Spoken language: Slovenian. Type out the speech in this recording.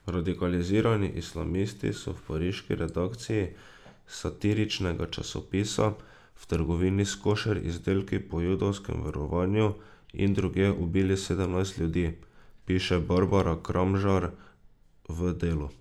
Radikalizirani islamisti so v pariški redakciji satiričnega časopisa, v trgovini s košer izdelki po judovskem verovanju in drugje ubili sedemnajst ljudi, piše Barbara Kramžar v Delu.